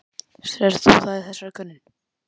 Sérð þú það í þessari könnun?